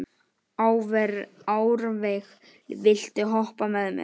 Árveig, viltu hoppa með mér?